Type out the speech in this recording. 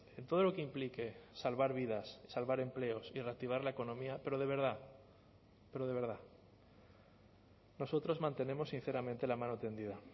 en todo lo que implique salvar vidas salvar empleos y reactivar la economía pero de verdad pero de verdad nosotros mantenemos sinceramente la mano tendida